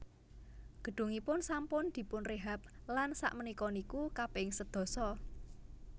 Gedungipun sampun dipunrehab lan sak menika niku kaping sedasa